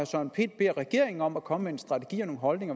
søren pind beder regeringen om at komme med en strategi og en holdning